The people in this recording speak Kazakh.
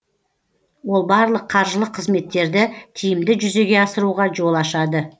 ол барлық қаржылық қызметтерді тиімді жүзеге асыруға жол ашады